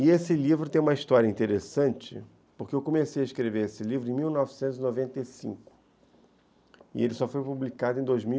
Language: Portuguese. E esse livro tem uma história interessante, porque eu comecei a escrever esse livro em mil novecentos e noventa e cinco, e ele só foi publicado em dois mil e